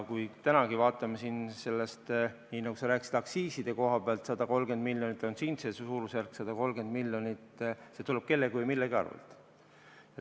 Tänagi vaatame siin, nagu sa rääkisid, aktsiiside koha pealt, et 130 miljonit on see suurusjärk, see tuleb kellegi või millegi arvel.